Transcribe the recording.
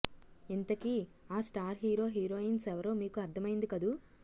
ఇంతకీ ఆ star hero heroines ఎవరో మీకు అర్ధమైంది కదూ